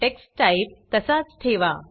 text type तसाच ठेवा